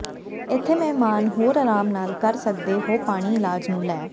ਇੱਥੇ ਮਹਿਮਾਨ ਹੋਰ ਅਰਾਮ ਨਾਲ ਕਰ ਸਕਦੇ ਹੋ ਪਾਣੀ ਇਲਾਜ ਨੂੰ ਲੈ